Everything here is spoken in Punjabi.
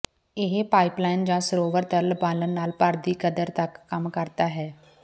ਇਹ ਪਾਈਪਲਾਈਨ ਜ ਸਰੋਵਰ ਤਰਲ ਬਾਲਣ ਨਾਲ ਭਰ ਦੀ ਕਦਰ ਤੱਕ ਕੰਮ ਕਰਦਾ ਹੈ